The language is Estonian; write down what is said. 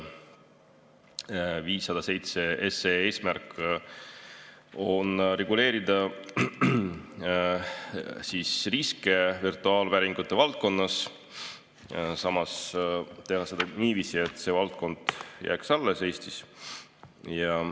507 SE eesmärk on reguleerida riske virtuaalvääringute valdkonnas, samas teha seda niiviisi, et see valdkond jääks Eestis alles.